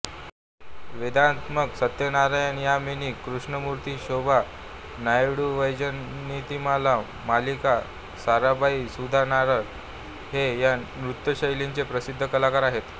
वेदान्तम सत्यनारायणयामिनी कृष्णमूर्ती शोभा नायडूवैजयन्तीमाला मल्लिका साराभाई सुधा नायर हे या नृत्यशैलीचे प्रसिद्ध कलाकार आहेत